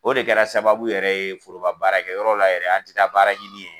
O de kɛra sababu yɛrɛ ye foroba baara kɛ yɔrɔ la an tɛ baara ɲini yen.